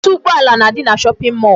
Ọtụtụ ụgbọala na-adị na shopping mall.